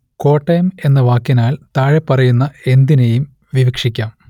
കോട്ടയം എന്ന വാക്കിനാൽ താഴെപ്പറയുന്ന എന്തിനേയും വിവക്ഷിക്കാം